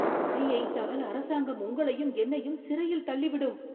வரி ஏய்த்தால் அரசாங்கம் உங்களையும் என்னையுய்ம் சிறையில் தள்ளிவிடும்.